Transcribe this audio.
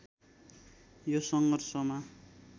यो सङ्घर्षमा